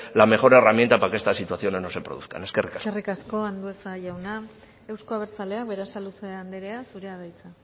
la mejor herramienta para que estas situaciones no se produzcan eskerrik asko eskerrik asko andueza jauna euzko abertzaleak berasaluze andrea zurea da hitza